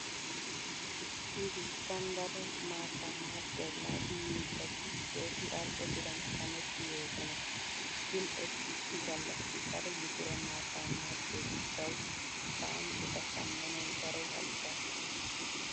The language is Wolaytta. Nu biittan daro maattaa maaxxiya waadu miizzat keehi al"o biran shametti yoosona. Shin eti issi gallassi daro litire maattaa maaxxiyo gishshawu taani eta shammanawu daro halchchaas.